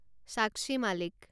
সাক্ষী মালিক